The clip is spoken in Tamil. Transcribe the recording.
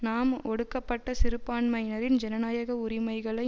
நாம் ஒடுக்கப்பட்ட சிறுபான்மையினரின் ஜனநாயக உரிமைகளை